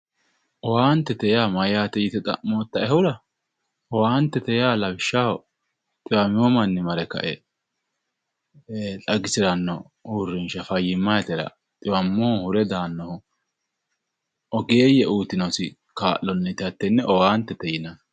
Owaantete yaa mayyaate yite xa'mmootaehura owaantete yaa lawishshaho dhiwamino manni mare xagisiranno uurrinshsha fayyimmsyitera dhiwammohu hure daannowa ogeeyye uyitinosi kaa'onni hattenne owaantete yinayi.